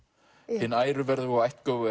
hin æruverðuga og